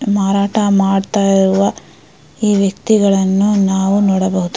ಮಾರಾಟ ಮಾಡ್ತಾ ಇರುವ ಈ ವ್ಯಕ್ತಿಗಳನ್ನು ನಾವು ನೋಡಬಹುದು.